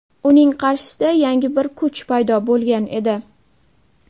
Uning qarshisida yangi bir kuch paydo bo‘lgan edi.